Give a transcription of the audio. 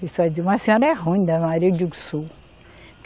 Pessoal dizia, mas a senhora é ruim, Dona Maria, eu digo, sou